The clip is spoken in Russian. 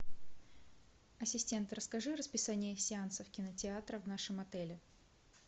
ассистент расскажи расписание сеансов кинотеатра в нашем отеле